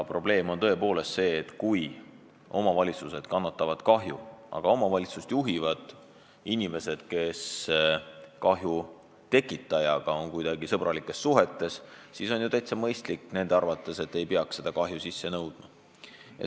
Probleem seisneb selles, et kui omavalitsused kannavad kahju, aga omavalitsust juhivad inimesed, kes on kahju tekitajaga kuidagi sõbralikes suhetes, siis on nende arvates täitsa mõistlik jätta see kahju sisse nõudmata.